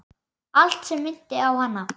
Allt sem minnti á hana.